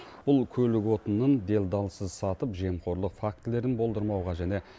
бұл көлік отынының делдалсыз сатып жемқорлық фактілерін болдырмауға және